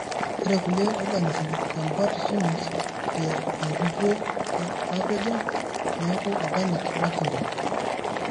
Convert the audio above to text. ore kulie organisms convert fumes te enkukuo napejo neeku organic mercury.